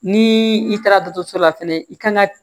Ni i taara dɔgɔtɔrɔso la fɛnɛ i kan ka